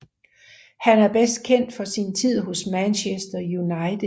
Han er bedst kendt for sin tid hos Manchester United